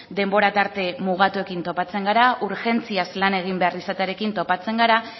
denbora tarte mugatuekin topatzen gara urgentziaz lan egin behar izatearekin topatzen gara